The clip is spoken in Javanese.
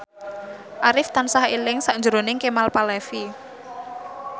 Arif tansah eling sakjroning Kemal Palevi